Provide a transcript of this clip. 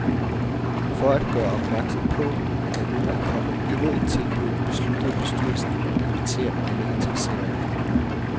For at gøre opmærksom på, at der nu er kommet endnu et tilbud, besluttede bestyrelsen at invitere alle interesserede.